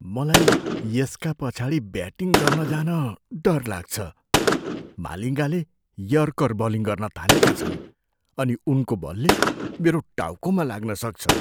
मलाई यसका पछाडि ब्याटिङ गर्न जान डर लाग्छ। मालिङ्गाले यर्कर बलिङ गर्न थालेका छन् अनि उनको बलले मेरो टाउकोमा लाग्न सक्छ।